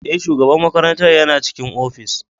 Ee, shugaban makarantar yana cikin ofis.